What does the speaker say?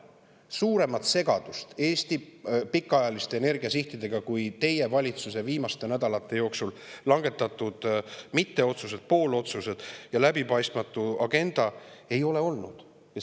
Suuremat segadust Eesti pikaajaliste energiasihtidega, kui teie valitsuse viimaste nädalate jooksul langetatud mitteotsused, poolotsused ja läbipaistmatu agenda, ei ole olnud.